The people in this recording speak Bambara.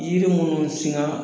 Yiri munnu siŋaa